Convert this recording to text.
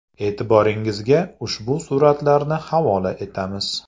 E’tiboringizga ushbu suratlarni havola etamiz.